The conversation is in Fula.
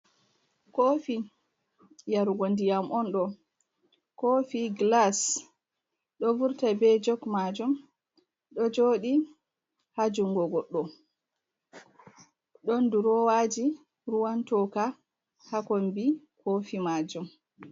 Kofi yarugo ndiyam on ɗo, kofi glas ɗo vurta be jog majum, ɗo joɗi ha jungo goɗɗo, ɗon durowaji ruwan toka ha kombi kofi majum.